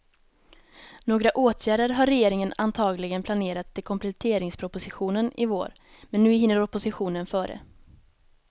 Några åtgärder har regeringen antagligen planerat till kompletteringspropositionen i vår, men nu hinner oppositionen före.